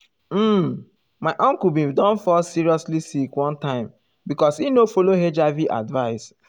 um my uncle bin don fall seriously sick one time because e no follow hiv advice.